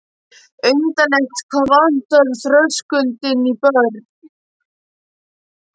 Undarlegt hvað vantar þröskuldinn í börn.